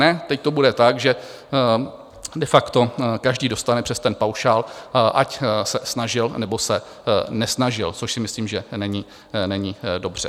Ne, teď to bude tak, že de facto každý dostane přes ten paušál, ať se snažil, nebo se nesnažil, což si myslím, že není dobře.